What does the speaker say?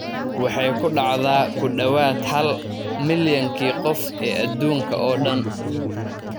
Waxay ku dhacdaa ku dhawaad ​​hal milyankii qof ee adduunka oo dhan.